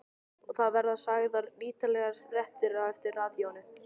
Og það verða sagðar ítarlegar fréttir á eftir í radíóinu.